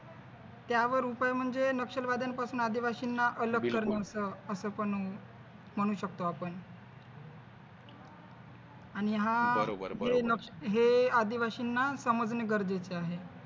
त्यावर उपाय म्हणजे नक्षलवाद्यांपासून आदिवासींना अलग करायचं अस पण म्हणू शकतो आपण आणि हा जे हे आदिवासींना समजणे गरजेचे आहे.